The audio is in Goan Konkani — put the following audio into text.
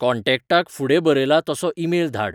कॉन्टेक्टाक फुडें बरयलां तसो ईमेल धाड